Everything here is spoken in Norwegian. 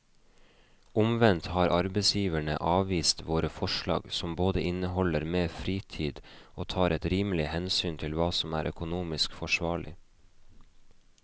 Omvendt har arbeidsgiverne avvist våre forslag som både inneholder mer fritid og tar et rimelig hensyn til hva som er økonomisk forsvarlig.